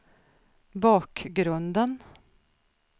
bakgrunden